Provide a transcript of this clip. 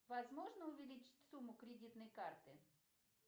возможно увеличить сумму кредитной карты